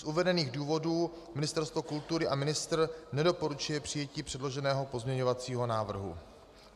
Z uvedených důvodů Ministerstvo kultury a ministr nedoporučuje přijetí předloženého pozměňovacího návrhu.